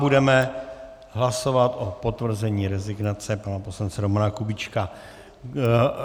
Budeme hlasovat o potvrzení rezignace pana poslance Romana Kubíčka.